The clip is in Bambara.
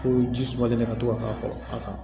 Fo ji sumalen de ka to ka k'a kɔrɔ a kan